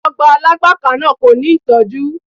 Ọgbà Alágbàká náà kò ní ìtọ́jú.